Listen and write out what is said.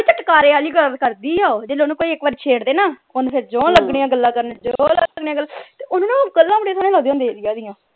ਚਟਕਾਰੇ ਆਲੀ ਗੱਲ ਕਰਦੀ ਆ ਉਹ ਜਦੋਂ ਕੋਈ ਇਕ ਵਾਰ ਓਹਨੂੰ ਛੇੜ ਦੇ ਨਾ ਓਹਨੇ ਫੇਰ ਜੀਓ ਲਗਣਿਆ ਗੱਲਾਂ ਕਰਨ ਜੀਓ ਲਗਣਿਆ ਤੇ ਓਹਨੂੰ ਨਾ ਗੱਲਾਂ ਬੜੀ ਸੋਹਣਿਆ ਲਗਦੀਆਂ ਹੁੰਦੀਆਂ ਸੀ ਰਿਆ ਦੀਆਂ